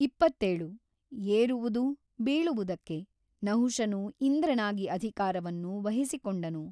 ಇಪ್ಪತ್ತೇಳು ಏರುವುದು ಬೀಳುವುದಕ್ಕೆ ನಹುಷನು ಇಂದ್ರನಾಗಿ ಅಧಿಕಾರವನ್ನು ವಹಿಸಿಕೊಂಡನು.